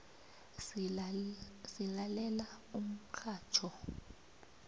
silalela umxhatjho